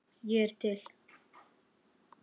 Ég er til